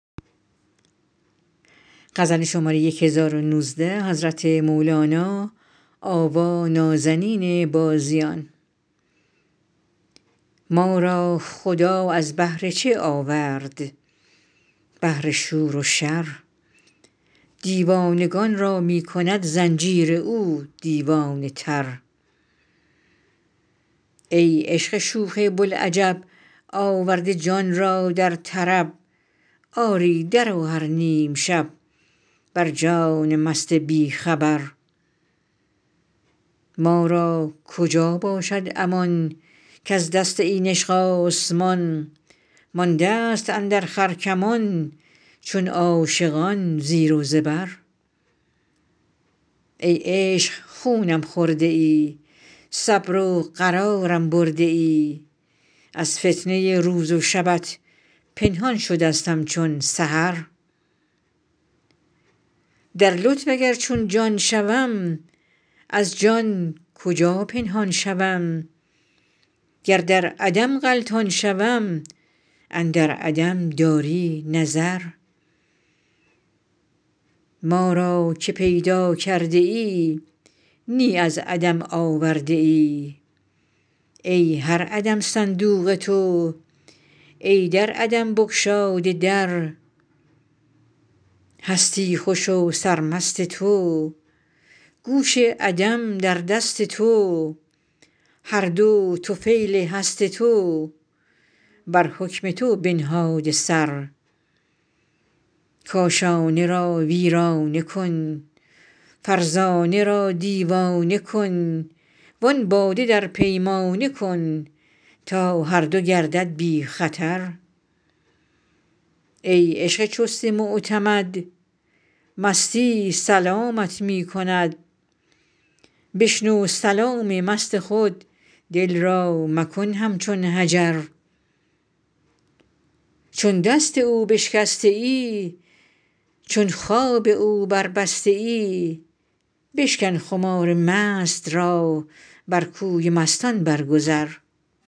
ما را خدا از بهر چه آورد بهر شور و شر دیوانگان را می کند زنجیر او دیوانه تر ای عشق شوخ بوالعجب آورده جان را در طرب آری درآ هر نیم شب بر جان مست بی خبر ما را کجا باشد امان کز دست این عشق آسمان ماندست اندر خرکمان چون عاشقان زیر و زبر ای عشق خونم خورده ای صبر و قرارم برده ای از فتنه روز و شبت پنهان شدستم چون سحر در لطف اگر چون جان شوم از جان کجا پنهان شوم گر در عدم غلطان شوم اندر عدم داری نظر ما را که پیدا کرده ای نی از عدم آورده ای ای هر عدم صندوق تو ای در عدم بگشاده در هستی خوش و سرمست تو گوش عدم در دست تو هر دو طفیل هست تو بر حکم تو بنهاده سر کاشانه را ویرانه کن فرزانه را دیوانه کن وان باده در پیمانه کن تا هر دو گردد بی خطر ای عشق چست معتمد مستی سلامت می کند بشنو سلام مست خود دل را مکن همچون حجر چون دست او بشکسته ای چون خواب او بربسته ای بشکن خمار مست را بر کوی مستان برگذر